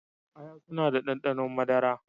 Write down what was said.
Aya suna da ɗanɗano madara